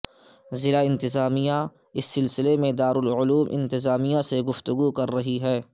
ضلع انتظامیہ اس سلسلے میں دارالعلوم انتظامیہ سے گفتگو کررہی ہے